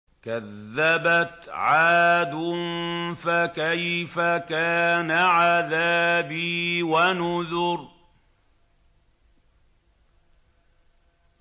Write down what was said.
كَذَّبَتْ عَادٌ فَكَيْفَ كَانَ عَذَابِي وَنُذُرِ